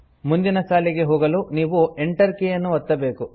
ಮುಂದಿನ ಸಾಲಿಗೆ ಹೋಗಲು ನೀವು Enter ಕೀಯನ್ನು ಒತ್ತಬೇಕು